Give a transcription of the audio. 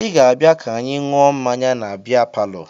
Ị ga-abịa ka anyị ṅụọ mmanya na bịa palọ!